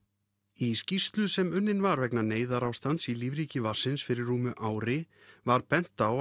í skýrslu sem unnin var vegna neyðarástands í lífríki vatnsins fyrir rúmu ári var bent á